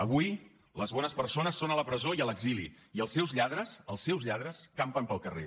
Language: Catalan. avui les bones persones són a la presó i a l’exili i els seus lladres els seus lladres campen pel carrer